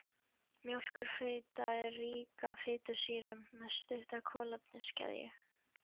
Mjólkurfita er rík af fitusýrum með stutta kolefniskeðju.